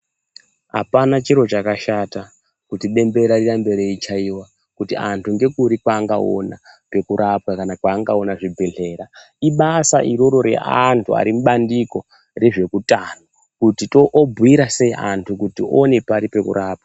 Hapana chiro chakashata kuti bembera rirambe reichaiva kuti antu ngekuri kwaangaona kwekurapwa, kana kwaangaona zvibhedhlera. Ibasa iroro reantu ari mubandiko rezveutano kuti obhuira sei antu kuti oone pari pekurapwa.